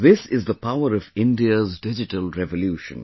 This is the power of India's digital revolution